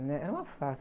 né? Era uma farsa.